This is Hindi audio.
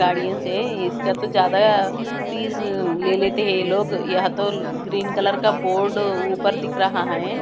गार्डियंस है इसका तो ज्यादा फीज ले लेते हैं ये लोग यहां तो ग्रीन कलर का बोर्ड ऊपर दिख रहा है।